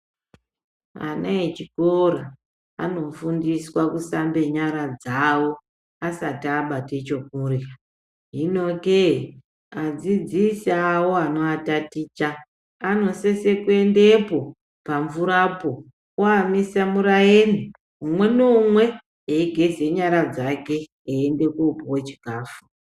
Ana echikora abofundiswa kusambe nyara dzavo asati abate chekurya hino kee adzidzisi awo anoataticha anosise kuendepo pamvura po oamisa muraeni umwe neumwe eigeza nyara dzake einde kopuwe chikafu .